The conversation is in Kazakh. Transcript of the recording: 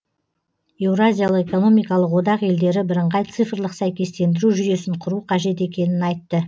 еуразиялық экономикалық одақ елдері бірыңғай цифрлық сәйкестендіру жүйесін құру қажет екенін айтты